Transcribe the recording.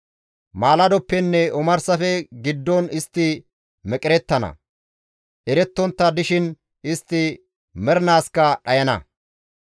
Maaladoppenne omarsafe giddon istti meqerettana; erettontta dishin istti mernaaskka dhayana.